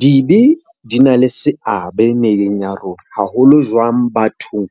Dibe di na le seabe naheng ya rona, haholo jwang bathong